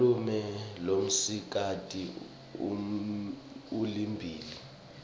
malume lomsikati ulibhimbi